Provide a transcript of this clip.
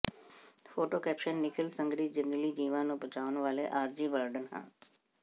photo caption Nikhil Sangar ਜੰਗਲੀ ਜੀਵਾਂ ਨੂੰ ਬਚਾਉਣ ਵਾਲੇ ਆਰਜ਼ੀ ਵਾਰਡਨ ਹਨ